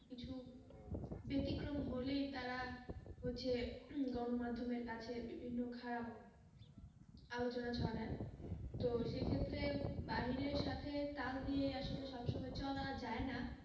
কিছু বেতিক্রম হলেই তারা হচ্ছে গণমাধ্যমের কাছে বিভিন্ন খারাপ আলোচনা ছড়ায় তো সেইক্ষেত্রে বাহিরের সাথে তাল দিয়ে আসলে সবসময় চলা যায়না,